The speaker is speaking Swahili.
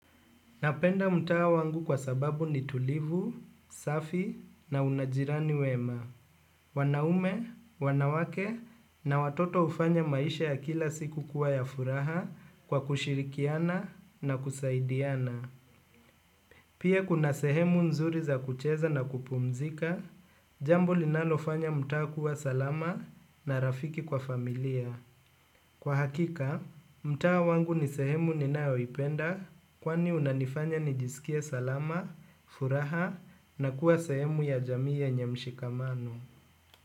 Napenda mtawa wangu kwa sababu ni tulivu, safi na unajirani wema. Wanaume, wanawake na watoto ufanya maisha ya kila siku kuwa ya furaha kwa kushirikiana na kusaidiana. Pia kuna sehemu nzuri za kucheza na kupumzika, jambo linalofanya mtawa kuwa salama na rafiki kwa familia. Kwa hakika, mtawa wangu ni sehemu ninao ipenda kwani unanifanya nijisikia salama, furaha na kuwa sehemu ya jamii yenye mshikamano.